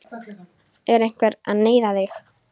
Er einhver að neyða þig?